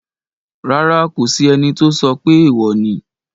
Rárá, kò sí ẹni tó sọ pé èèwò ni